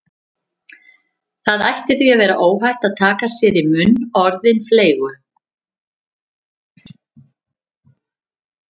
Það ætti því að vera óhætt að taka sér í munn orðin fleygu